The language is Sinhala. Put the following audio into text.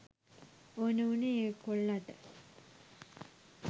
ඕන වුනේ ඒ කොල්ලට